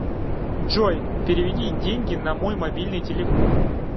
джой переведи деньги на мой мобильный телефон